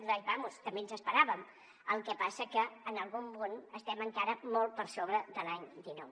vaja també ens esperàvem el que passa és que en algun punt estem encara molt per sobre de l’any dinou